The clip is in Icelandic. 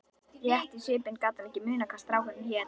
Rétt í svipinn gat hann ekki munað hvað strákurinn hét.